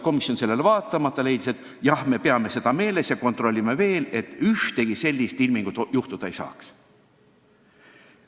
Komisjon aga võttis seisukoha, et me peame seda meeles ja kontrollime, et ühtegi sellist ilmingut ei tekiks.